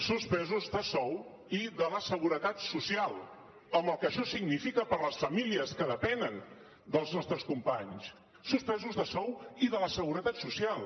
suspesos de sou i de la seguretat social amb el que això significa per a les famílies que depenen dels nostres companys suspesos de sou i de la seguretat social